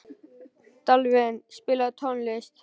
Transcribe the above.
Dalvin, spilaðu tónlist.